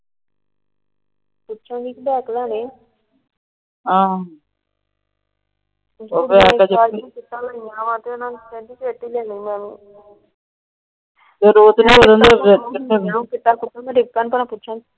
ਪੁਛਾਂਗੀ ਵੀ ਬੈਗ ਲੈਣੇ।